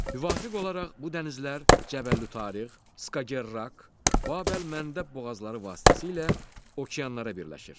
Müvafiq olaraq bu dənizlər Cəbəlütariq, Skagerrak, Babəlməndəb boğazları vasitəsilə okeanlara birləşir.